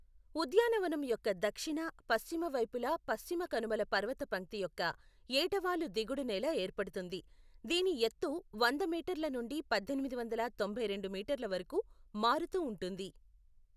ఉద్యానవనం యొక్క దక్షిణ, పశ్చిమ వైపులా పశ్చిమ కనుమల పర్వతపంక్తి యొక్క ఏటవాలు దిగుడు నేల ఏర్పడుతుంది, దీని ఎత్తు వంద మీటర్ల నుండి పద్దెనిమిది వందల తొంభై రెండు మీటర్ల వరకు మారుతూ ఉంటుంది.